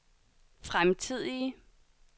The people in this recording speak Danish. fremtidige